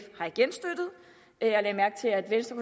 jeg lagde mærke til at venstre